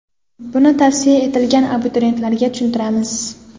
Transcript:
Buni tavsiya etilgan abituriyentlarga tushuntiramiz.